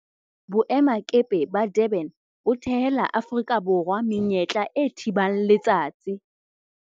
Boemakepe ba Durban bo thehela Aforika Borwa menyetla e thibang letsatsi